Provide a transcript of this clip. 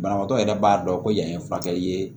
Banabaatɔ yɛrɛ b'a dɔn ko yan ye furakɛli ye